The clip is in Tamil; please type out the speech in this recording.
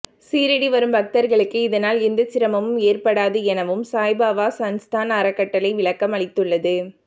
ஷீரடி வரும் பக்தர்களுக்கு இதனால் எந்த சிரமமும் ஏற்படாது எனவும் சாய்பாபா சன்ஸ்தான் அறக்கட்டளை விளக்கம் அளித்துள்ளது